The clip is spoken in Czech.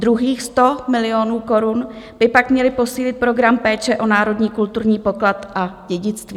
Druhých 100 milionů korun by pak mělo posílit program péče o národní kulturní poklad a dědictví.